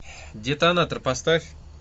детонатор поставь